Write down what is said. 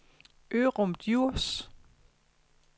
Ørum Djurs